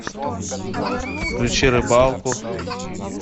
включи рыбалку